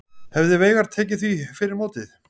Hefði Veigar tekið því fyrir mótið?